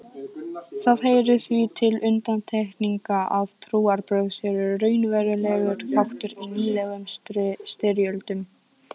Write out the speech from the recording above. Það heyrir því til undantekninga að trúarbrögð séu raunverulegur þáttur í nýlegum styrjöldum.